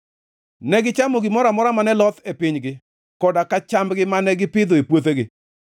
negichamo gimoro amora mane loth e pinygi koda ka chambgi mane gipidho e puothegi.